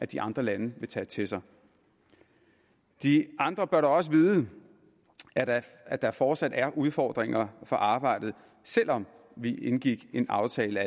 de andre lande vil tage til sig de andre bør dog også vide at at der fortsat er udfordringer for arbejdet selv om vi indgik en aftale